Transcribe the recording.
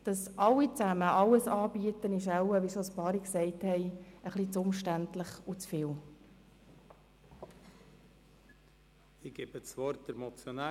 Wie schon mehrere Personen gesagt haben, wäre es wohl zu umständlich und aufwendig, wenn alle Spitex-Organisationen alles anbieten müssten.